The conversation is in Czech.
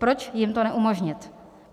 Proč jim to neumožnit?